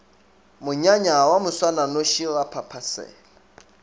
monyanya wa moswananoši ra phaphasela